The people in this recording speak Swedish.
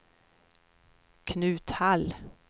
Knut Hall